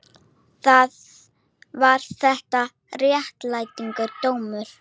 Var þetta réttlætanlegur dómur?